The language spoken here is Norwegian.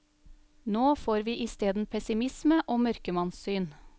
Nå får vi isteden pessimisme og mørkemannssyn.